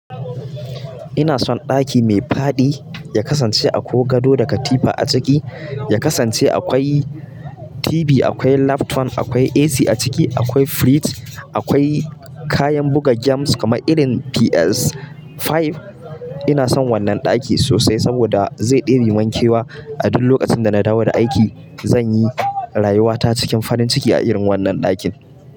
Ina son ɗaki mai fadi ya kasance akwai gado da katifa a ciki, ya kasance akwai TV, akwai laptop, akwai AC a ciki, akwai fridge, akwai kayan buga games kamar irin PS5. Ina son wannan ɗakin sosai saboda zai ɗebi mankewa a duk lokacin da na dawo da aiki. Zan yi rayuwata cikin farin ciki a irin wannan ɗakin.